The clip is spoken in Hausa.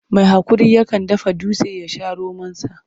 Mai haƙuri yakan dafa dutse ya sha romonsa.